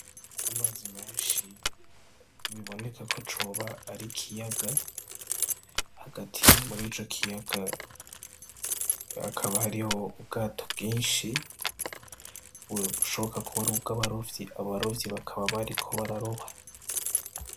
Amazi menshi biboneka ko coba ar'ikiyaga hagati muri ico kiyaga hakaba hariho ubwato bwinshi , bushoboka ko bwoba bufise abarovyi bakaba bariko bararoba.